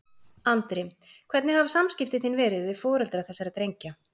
Andri: Hvernig hafa samskipti þín verið við foreldra þessara drengja?